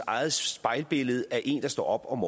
eget spejlbillede af en der står op om